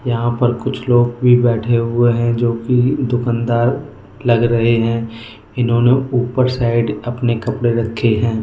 यहां पर कुछ लोग भी बैठे हुए हैं जो कि दुकानदार लग रहे हैं इन्होंने ऊपर साइड अपने कपड़े रखे हैं।